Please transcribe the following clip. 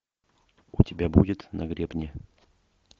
у тебя будет на гребне